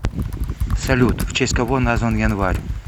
салют в честь кого назван январь